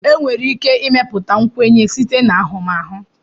enwere ike ịmepụta nkwenye site na ahụmahụ